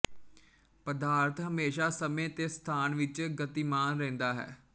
ਪਦਾਰਥ ਹਮੇਸ਼ਾ ਸਮੇਂ ਤੇ ਸਥਾਨ ਵਿੱਚ ਗਤੀਮਾਨ ਰਹਿੰਦਾ ਹੈ